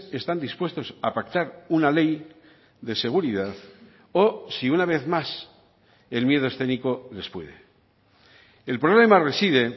están dispuestos a pactar una ley de seguridad o si una vez más el miedo escénico les puede el problema reside